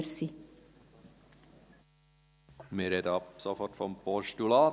Wir sprechen ab sofort von einem Postulat.